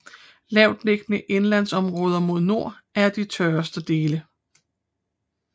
Lavtliggende indlandsområder mod nord er de tørreste dele